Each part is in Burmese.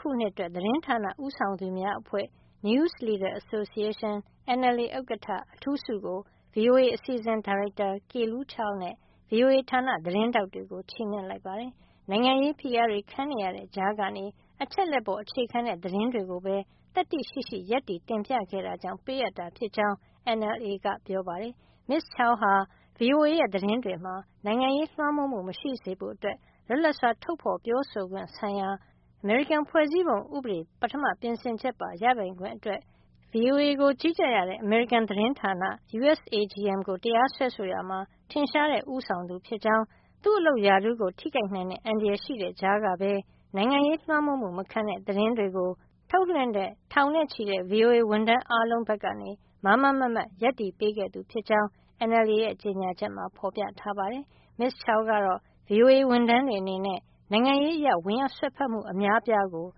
ခုနှစ်အတွက် သတင်းဌာနဦးဆောင်သူများအဖွဲ့ News Leaders Association – NLA ဥက္ကဋ္ဌ အထူးဆုကို VOA အစီအစဉ်ဒါရိုက်တာ Kelu Chao နဲ့ VOA ဌာနသတင်းထောက်တွေကို ချီးမြှင့်လိုက်ပါတယ်။ နိုင်ငံရေး ဖိအားတွေခံနေရတဲ့ ကြားကနေ အချက်အလက်ပေါ် အခြေခံတဲ့ သတင်းတွေကိုပဲ သတ္တိရှိရှိ ရပ်တည် တင်ပြခဲ့တာကြောင့် ပေးအပ်တာ ဖြစ်ကြောင်း NLA က ပြောပါတယ်။ Ms. Chao ဟာ VOA ရဲ့ သတင်းတွေမှာ နိုင်ငံရေးလွှမ်းမိုးမှု မရှိစေဖို့ လွတ်လပ်စွာ ထုတ်ဖေါ်ပြောဆိုခွင့် ဆိုင်ရာ အမေရိကန်ဖွဲ့စည်းပုံဥပဒေ ပထမ ပြင်ဆင်ချက်ပါ ရပိုင်ခွင့်အတွက် VOA ကို ကြီးကြပ်ရတဲ့ အမေရိကန်သတင်းဌာန USAGM ကို တရားစွဲဆိုရာမှာ ထင်ရှားတဲ့ ဦးဆောင်သူ ဖြစ်ကြောင်း၊ သူ့အလုပ်ရာထူးထိခိုက်နိုင်တဲ့ အန္တရာယ်ရှိတဲ့ ကြားကပဲ နိုင်ငံရေးလွှမ်းမိုးမှု မခံတဲ့ သတင်းတွေ ထုတ်လွှင့်တဲ့ ထောင်နဲ့ချီတဲ့ VOA ဝန်ထမ်းအားလုံး ဘက်က မားမားမတ်မတ် ရပ်တည်ပေးခဲ့ သူဖြစ်ကြောင်း NLA ရဲ့ ကြေညာချက်မှာ ဖေါ်ပြထားပါတယ်။ Ms. Chao ကတော့ VOA ဝန်ထမ်းတွေ အနေနဲ့ နိုင်ငံရေးအရ ဝင်ရောက်စွက်ဖက်မှု အများအပြားကို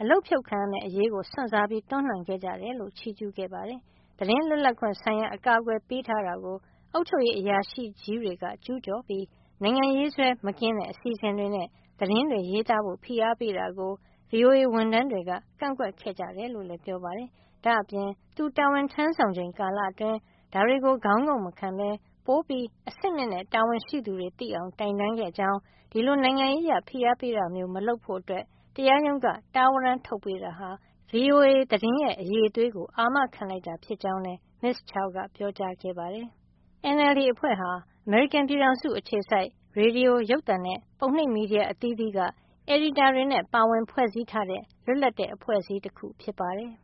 အလုပ်ဖြုတ်ခံရမယ့် အရေး စွန့်စားပြီး တွန်းလှန်ခဲ့ကြတယ်လို့ ချီးကြူးခဲ့ပါတယ်။ သတင်းလွတ်လပ်ခွင့် ဆိုင်ရာ အကာကွယ်ပေးထားတာကို အုပ်ချုပ်ရေး အရာရှိကြီးတွေက ကျူးကျော်ပြီး နိုင်ငံရေးစွဲ မကင်းတဲ့ အစီစဉ်တွေနဲ့ သတင်းရေးသားဖို့ ဖိအားပေးတာကို VOA ဝန်ထမ်းတွေက ကန့်ကွက်ခဲ့ကြတယ်လို့လည်း ပြောပါတယ်။ ဒါ့အပြင် သူတာဝန်ထမ်းဆောင်ချိန် ကာလအတွင်း ဒါတွေကို ခေါင်းငုံ့မခံပဲ ပိုမိုအဆင့်မြင့်တဲ့ တာဝန်ရှိသူတွေ သိအောင် တိုင်တန်းခဲ့ကြောင်း၊ ဒီလို နိုင်ငံရေးအရ ဖိအားပေးတာမျိုး မလုပ်ဖို့ တရားရုံးက တားဝရန်းထုတ်ပေးတာဟာ VOA သတင်းရဲ့ အရည်အသွေးကို အာမခံလိုက်တာ ဖြစ်ကြောင်းလည်း Ms. Chao ကပြောကြားခဲ့ပါတယ်။ NLA ဟာ အမေရိကန်ပြည်ထောင်စုက ရေဒီယို၊ ရုပ်သံနဲ့ ပုံနှိပ် သတင်းမီဒီယာဌာနတွေက အယ်ဒီတာတွေ ပါဝင်ဖွဲ့စည်းထားတဲ့ လွတ်လပ်တဲ့ အဖွဲ့အစည်း တခု ဖြစ်ပါတယ်။